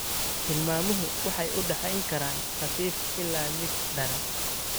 Tilmaamuhu waxay u dhaxayn karaan khafiif ilaa mid daran.